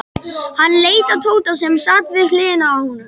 Hann leit á Tóta sem sat við hliðina á honum.